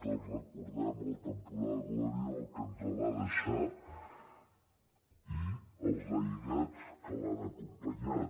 tots recordem el temporal gloria el que ens va deixar i els aiguats que l’han acompanyat